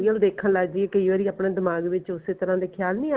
ਦੇਖਣ ਲੱਗ ਜਾਈਏ ਕਈ ਵਾਰੀ ਆਪਣੇ ਦਿਮਾਗ ਵਿੱਚ ਉਸੇ ਤਰ੍ਹਾਂ ਦੇ ਖਿਆਲ